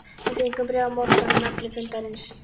Við fengjum bréf á morgun um efni fundarins.